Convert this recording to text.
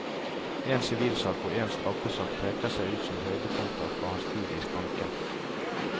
En sivilsak og en straffesak peker seg ut som høydepunkter fra hans tid i skranken.